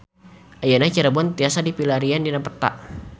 Ayeuna Cirebon tiasa dipilarian dina peta